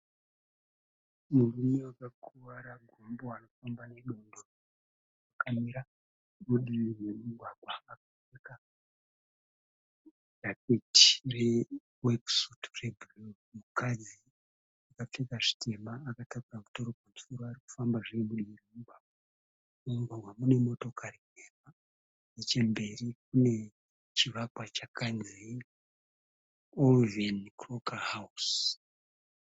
Murume wakakuvara gumbo ari kufamba nedondoro akamira mudivi remugwagwa akapfeka jaketi re wekisutu regirini mukadzi akapfeka zvitema akatakura mutoro pamusoro ari kufamba zve mudivi remugwagwa, mumugwagwa mune motokari nhema nechemberi kune chivakwa chakanzi OLIVEN CROCKER HOUSE.